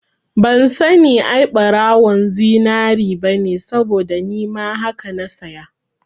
Ban sani ai ɓarawon zinari bane saboda nima haka na saya